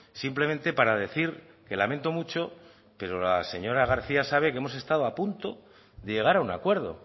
simplemente para decir que lamento mucho pero la señora garcía sabe que hemos estado a punto de llegar a un acuerdo